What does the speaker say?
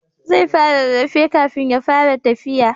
Zai fara rarrafe kafin ya fara tafiya